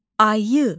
Ayı.